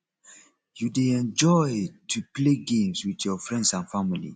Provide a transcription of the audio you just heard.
you dey enjoy to play games with your friends and family